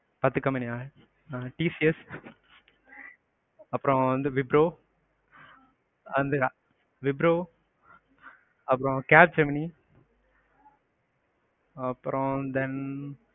பத்து company யா tcs அப்பறம் வந்து விப்ரோ, விப்ரோ அப்பறம் capgemini, அப்பறம் then,